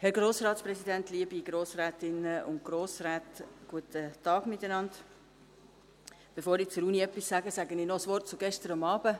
Bevor ich etwas zur Universität sage, sage ich noch ein Wort zu gestern Abend.